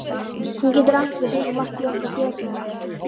Hún getur átt við svo margt í okkar þjóðfélagi.